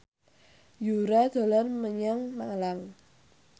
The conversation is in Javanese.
Yura dolan menyang Malang